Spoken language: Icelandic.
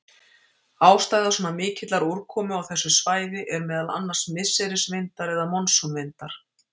Ástæða svona mikillar úrkomu á þessu svæði er meðal annars misserisvindar eða monsúnvindar.